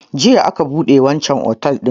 Jiya aka buɗe wanchan otel din